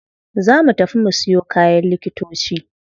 Za mu tafi mu siyo kayan likitoci.